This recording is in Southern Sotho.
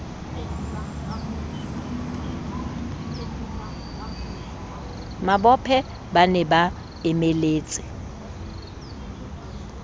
mabophe ba ne ba emeletse